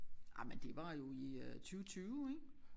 Jamen det var jo i øh 20 20 ik